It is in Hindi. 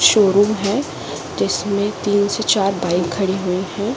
शोरूम है जिसमें तीन से चार बाइक खड़ी हुई हैं।